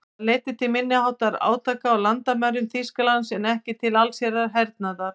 Það leiddi til minniháttar átaka á landamærum Þýskalands en ekki til allsherjar hernaðar.